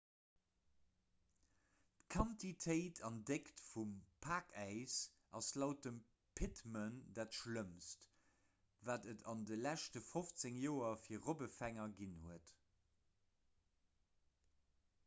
d'quantitéit an déckt vum pakäis ass laut dem pittman dat schlëmmst wat et an de leschte 15 joer fir robbefänger ginn huet